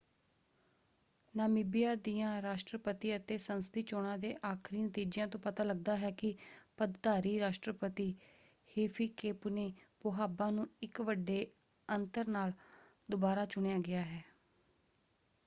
Namibia ਦੀਆਂ ਰਾਸ਼ਟਰਪਤੀ ਅਤੇ ਸੰਸਦੀ ਚੋਣਾਂ ਦੇ ਆਖ਼ਰੀ ਨਤੀਜਿਆਂ ਤੋਂ ਪਤਾ ਲੱਗਦਾ ਹੈ ਕਿ ਪਦਧਾਰੀ ਰਾਸ਼ਟਰਪਤੀ ਹਿਫ਼ਿਕੇਪੁਨੇ ਪੋਹਾਂਬਾ ਨੂੰ ਇੱਕ ਵੱਡੇ ਅੰਤਰ ਨਾਲ ਦੁਬਾਰਾ ਚੁਣਿਆ ਗਿਆ ਹੈ।